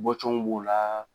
Bɔcɔnw b'o la